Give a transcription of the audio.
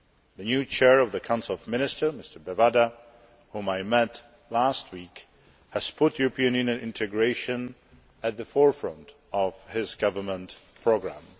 The new Chair of the Council of Ministers, Mr Bevanda, whom I met last week, has put European Union integration at the forefront of his government programme.